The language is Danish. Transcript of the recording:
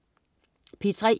P3: